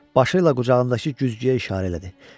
Başı ilə qucağındakı güzgüyə işarə elədi.